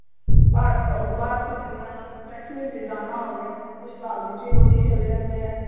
ਬਾ ਅਹ taxi ਦੇ ਵਿਚ ਜਾਣਾ ਹੋਵੇ, ਸ਼ਤਾਬਦੀ ਚ ਵੀ ਲੋਕੀ ਚਲੇ ਜਾਂਦੇ ਨੇ।